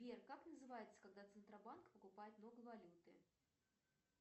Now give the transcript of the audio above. сбер как называется когда центробанк покупает много валюты